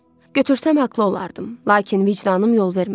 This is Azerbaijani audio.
Götürsəm haqlı olardım, lakin vicdanım yol vermədi.